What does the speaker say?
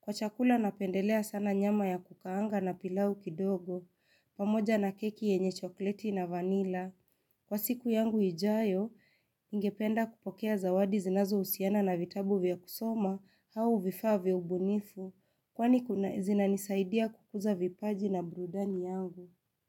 Kwa chakula napendelea sana nyama ya kukaanga na pilau kidogo, pamoja na keki yenye chokoleti na vanila. Kwa siku yangu ijayo, ningependa kupokea zawadi zinazo husiana na vitabu vya kusoma au vifaa vya ubunifu, kwani zinanisaidia kukuza vipaji na burudani yangu.